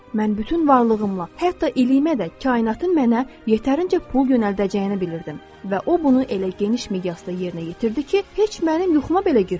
Mən bütün varlığımla, hətta iliyimə də kainatın mənə yetərincə pul yönəldəcəyini bilirdim və o bunu elə geniş miqyasda yerinə yetirdi ki, heç mənim yuxuma belə girməzdi.